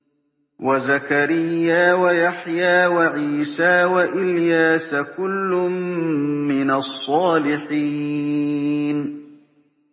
وَزَكَرِيَّا وَيَحْيَىٰ وَعِيسَىٰ وَإِلْيَاسَ ۖ كُلٌّ مِّنَ الصَّالِحِينَ